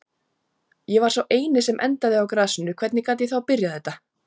Ég var sá eini sem endaði á grasinu, hvernig gat ég þá byrjað þetta?